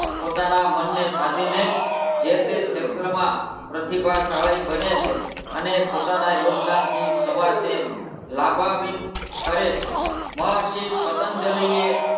પોતાનાં મનને સાધીને જ જે તે ક્ષેત્રમાં પ્રતિભાશાળી બન્યાં છે અને પોતાનાં યોગદાનથી સમાજ ને લાભાવીન કરે છે મહર્ષિ પતંજલિએ,